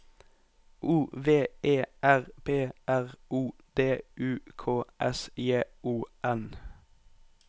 O V E R P R O D U K S J O N